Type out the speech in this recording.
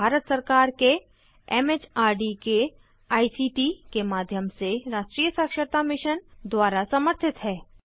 यह भारत सरकार के एम एच आर डी के आई सी टी के माध्यम से राष्ट्रीय साक्षरता मिशन द्वारा समर्थित है